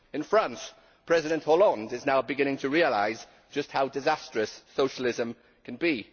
In France, President Hollande is now beginning to realise just how disastrous socialism can be.